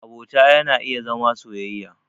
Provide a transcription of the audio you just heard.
Abota yana iya zama soyayya.